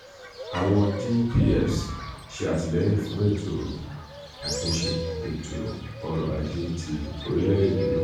um awọn dpfs ṣe atilẹyin fun eto atunṣe um eto-ọrọ aje ti orilẹ-ede naa. um